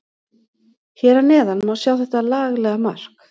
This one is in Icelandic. Hér að neðan má sjá þetta laglega mark.